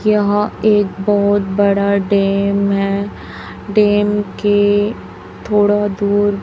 यहां एक बहुत बड़ा डैम है डैम के थोड़ा दूर--